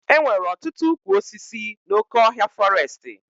E nwere ọtụtụ ụkwụ osisi n'oké ọhịa fọrestị